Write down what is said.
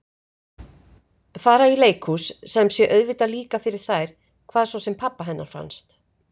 Fara í leikhús sem sé auðvitað líka fyrir þær hvað svo sem pabba hennar fannst.